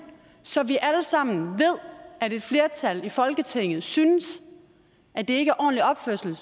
så vi alle sammen ved at et flertal i folketingets synes at det ikke er ordentlig opførsel